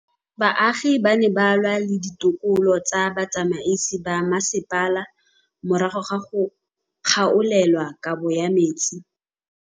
Baagi ba ne ba lwa le ditokolo tsa botsamaisi ba mmasepala morago ga go gaolelwa kabo metsi.